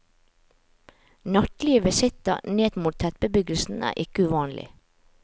Nattlige visitter ned mot tettbebyggelsen er ikke uvanlig.